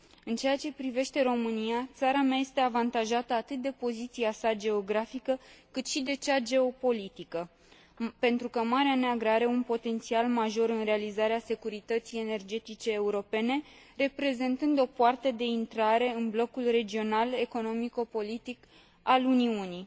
În ceea ce privește România, țara mea este avantajată atât de poziția sa geografică, cât și de cea geopolitică, pentru că Marea Neagră are un potențial major în realizarea securității energetice europene, reprezentând o poartă de intrare în blocul regional economico politic al Uniunii.